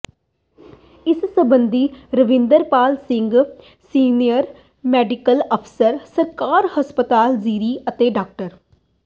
ਇਸ ਸਬੰਧੀ Ravinder Pal Singh senior medical ਅਫ਼ਸਰ ਸਰਕਾਰੀ ਹਸਪਤਾਲ ਜ਼ੀਰਾ ਅਤੇ ਡਾ